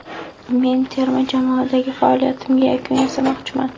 Men terma jamoadagi faoliyatimga yakun yasamoqchiman.